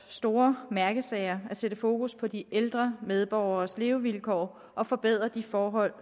store mærkesager at sætte fokus på de ældre medborgeres levevilkår og forbedre de forhold